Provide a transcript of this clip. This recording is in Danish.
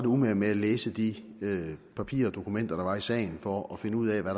umage med at læse de papirer og dokumenter der var i sagen for at finde ud af hvad